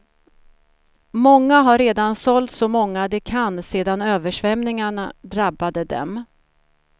Många har redan sålt så många de kan sedan översvämningarna drabbade dem.